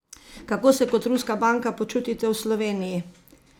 Kako se kot ruska banka počutite v Sloveniji?